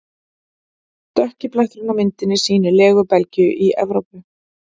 Dökki bletturinn á myndinni sýnir legu Belgíu í Evrópu.